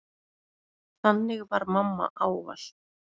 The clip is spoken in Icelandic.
Þannig var mamma ávallt.